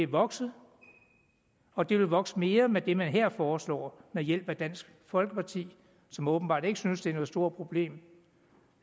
vokset og det vil vokse mere med det man her foreslår ved hjælp af dansk folkeparti som åbenbart ikke synes det er et stort problem